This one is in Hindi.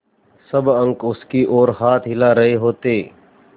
सब अंक उसकी ओर हाथ हिला रहे होते